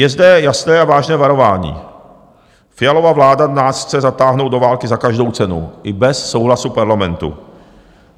Je zde jasné a vážné varování: Fialova vláda nás chce zatáhnout do války za každou cenu i bez souhlasu Parlamentu.